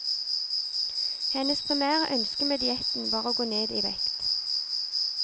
Hennes primære ønske med dietten var å gå ned i vekt.